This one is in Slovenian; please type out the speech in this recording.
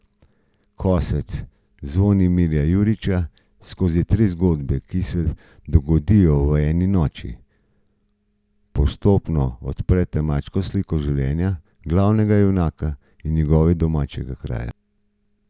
Kosec Zvonimirja Jurića skozi tri zgodbe, ki se dogodijo v eni noči, postopno odstre temačno sliko življenja glavnega junaka in njegovega domačega kraja.